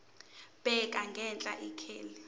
bheka ngenhla ikheli